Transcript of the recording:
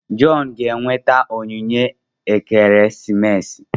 John ga-enweta onyinye ekeresimesi.